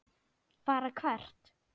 Fara hvert?